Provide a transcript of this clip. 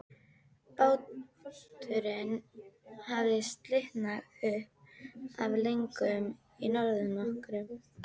Báturinn hafði slitnað upp af legunni í norðanroki.